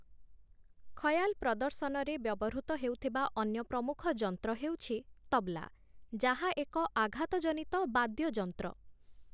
ଖୟାଲ୍‌ ପ୍ରଦର୍ଶନରେ ବ୍ୟବହୃତ ହେଉଥିବା ଅନ୍ୟ ପ୍ରମୁଖ ଯନ୍ତ୍ର ହେଉଛି ତବ୍‌ଲା, ଯାହା ଏକ ଆଘାତଜନିତ ବାଦ୍ୟଯନ୍ତ୍ର ।